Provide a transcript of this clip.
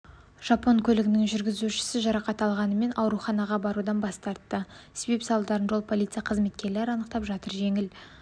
жапон көлігінің жүргізушісі жарақат алғанымен ауруханаға барудан бас тартты себеп-салдарын жол полиция қызметкерлері анықтап жатыр жеңіл